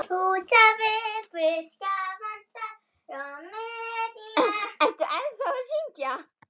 Ertu ennþá að syngja?